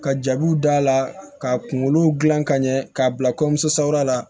Ka jabiw d'a la ka kunkolo dilan ka ɲɛ k'a bila kɔɲɔmuso la